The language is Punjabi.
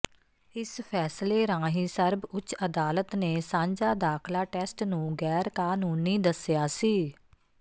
ਇਸ ਫ਼ੈਸਲੇ ਰਾਹੀਂ ਸਰਬ ਉੱਚ ਅਦਾਲਤ ਨੇ ਸਾਂਝਾ ਦਾਖਲਾ ਟੈਸਟ ਨੂੰ ਗੈਰ ਕਾਨੂੰਨੀ ਦਸਿਆ ਸੀ